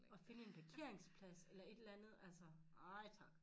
Og finde en parkeringsplads eller et eller andet altså nej tak